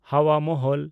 ᱦᱟᱣᱟ ᱢᱚᱦᱚᱞ